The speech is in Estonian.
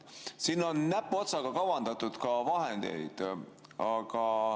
Siin on näpuotsaga kavandatud vahendeid.